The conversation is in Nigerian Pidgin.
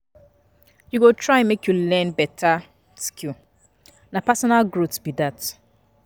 You go try make you learn beta skill, na personal growth be dat.